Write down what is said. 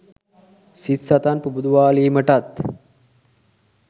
සිත් සතන් පුබුදුවාලීමටත්